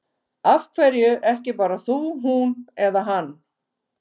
Af hverju ekki bara þú, hún eða hann?